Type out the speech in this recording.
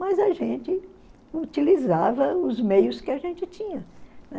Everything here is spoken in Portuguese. Mas a gente utilizava os meios que a gente tinha, né?